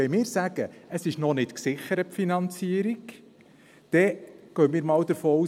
Wenn wir sagen, die Finanzierung sei noch nicht gesichert, dann gehen wir mal davon aus: